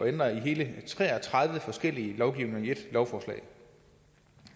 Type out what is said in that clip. at ændre i hele tre og tredive forskellige lovgivninger i ét lovforslag